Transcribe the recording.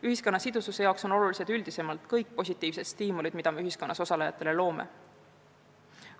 Ühiskonna sidususe seisukohalt on olulised üldisemalt kõik positiivsed stiimulid, mida me ühiskonnas osalejatele loome.